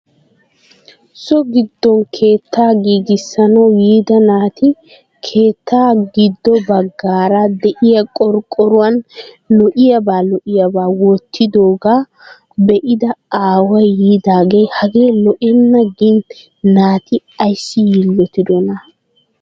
so giddon keettaa giigissanaawu yiida naati keeettaa giddo bagaara de'iya qoqqoruwan lo'iyaabaa lo'iyaabaa wottidoogaa be'ida aaway yiidaagee hagee lo'enee yaagin naati ayssi yiilottidonaa?